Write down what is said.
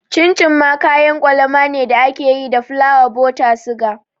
Cin cin shi ma kayan kwalama ne da ake yi da fulawa, buta, suga